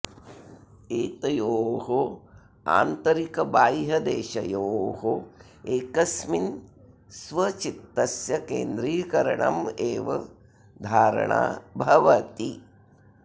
एतयोः आन्तरिकबाह्यदेशयोः एकस्मिन् स्व चित्तस्य केन्द्रीकरणम् एव धारणा भवति